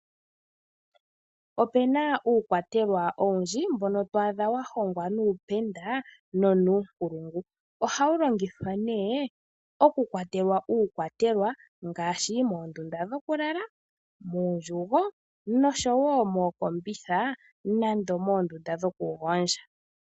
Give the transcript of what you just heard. Opena uukwatelwa owundji mbono to adha wa hongwa nuupenda, nonuunkulungu. Oha wu longithwa nee; oku kwatelwa uukwatelwa ngaashi: moondunda dhokulala, muundjugo, nosho woo mookombitha nando moondunda dhoku gondja.